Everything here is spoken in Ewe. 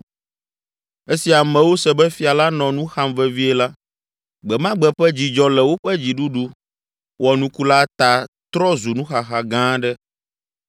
Esi amewo se be fia la nɔ nu xam vevie la, gbe ma gbe ƒe dzidzɔ le woƒe dziɖuɖu wɔnuku la ta trɔ zu nuxaxa gã aɖe.